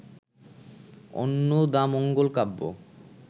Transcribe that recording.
Annadamangal Kabya